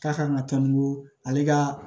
K'a kan ka taa ni ko ale ka